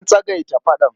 An tsagaita faɗan.